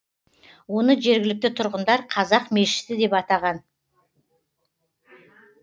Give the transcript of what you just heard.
оны жергілікті тұрғындар қазақ мешіті деп атаған